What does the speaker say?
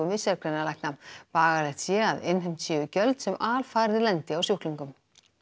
við sérgreinalækna bagalegt sé að innheimt séu gjöld sem alfarið lendi á sjúklingum